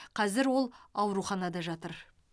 қазір ол ауруханада жатыр